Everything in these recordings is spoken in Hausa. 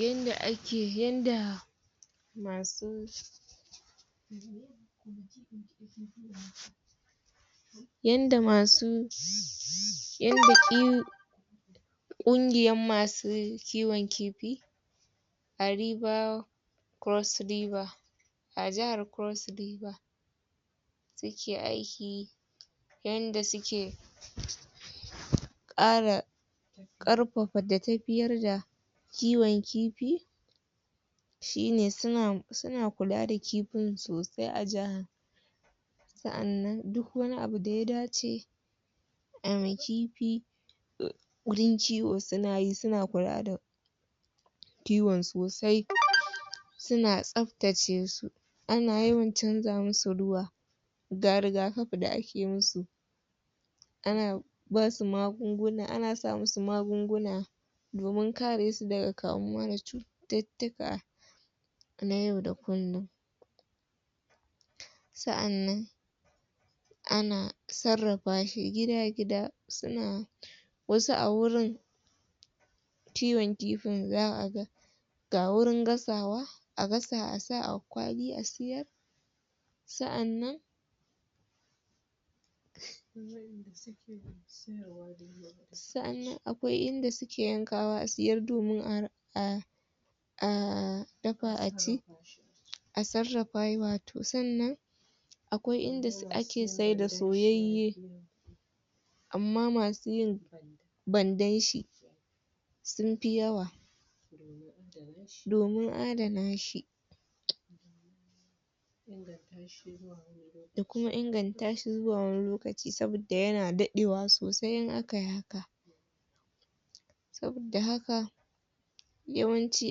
yanda ake, yanda masu yanda masu ƙungiyan masu kiwon kifi Cross-river a jahar Cross-river suke aiki yanda suke ƙara ƙarfafa da tafiyar da kiwon kifi shine suna kula da kifin sosai a jahar sa'annan duk wani abu da ya dace ayi ma kifi wurin kiwo suna yi suna kula da kiwon sosai suna tsaftace su ana yawan canja musu ruwa ga riga-kafi da ake musu ana ana sa musu magunguna domin kare su daga kamuwa da cututtuka na yau da kullum sa'annan ana sarrafa shi gida-gida suna wasu a wurin kiwon kifin za'a ga ga wurin gasawa a gasa a sa a kwali a siyar sa'annan sa'annan akwai inda suke yankawa a siyar domin a dafa a ci a sarrafa wato sannan akwai inda ake saida soyayye amma masu yin bandan shi sun fi yawa domin adana shi da kuma inganta shi zuwa wani lokaci saboda yana daɗe wa sosai in akayi haka saboda haka yawanci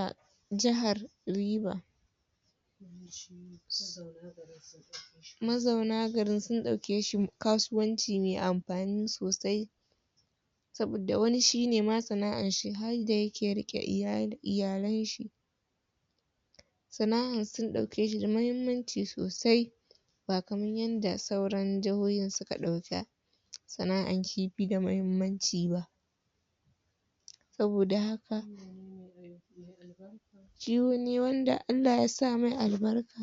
a jahar River mazauna garin sun ɗauke shi kasuwanci me amfani sosai saboda wani shine ma sana'ar shi harda yake riƙe iyalan shi sana'an sun ɗauke shi da mahimmanci sosai ba kaman yanda sauran jahohin suka ɗauka sana'an kifi da mahimmanci ba saboda haka kiwo ne wanda Allah ya sa mai albarka